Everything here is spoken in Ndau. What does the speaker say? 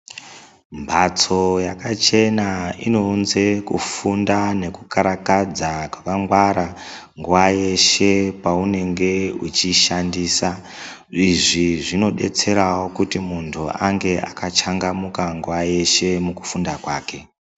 Mhatso yakachena inounze kufunda nekukarakadza kwakangwara nguva yeshe paunenge uchishandisa. Izvi zvinobetseravo kuti muntu ange akachangamuka nguva yeshe mukufunda kwake